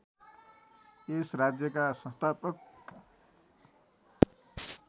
यस राज्यका संस्थापक